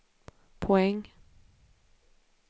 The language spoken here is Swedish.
poäng